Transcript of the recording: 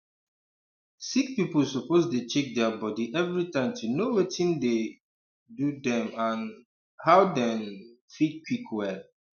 sick people suppose dey check their body everytime to know watin dey um do dem and um how dem um fit quick well